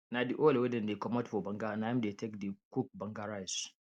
na the oil wey dem comot for banga na im dey take dey cook banga rice